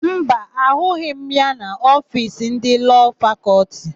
Mba, ahụghị m ya n'ofiisi ndị Lọọ Fakọltị.